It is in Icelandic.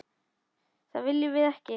Það viljum við ekki.